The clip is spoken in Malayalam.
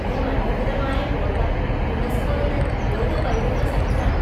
ഈ മനോഹരമായ കോട്ട യുനെസ്കോയുടെ ലോക പൈതൃക സൈറ്റാണ്.